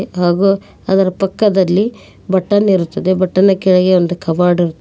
ಹಾಗೂ ಅದರ ಪಕ್ಕದಲ್ಲಿ ಬಟನ್ ಇರುತ್ತದೆ ಬಟನ್ ನ ಕೆಳಗೆ ಒಂದು ಕೇಬರ್ಡ್ --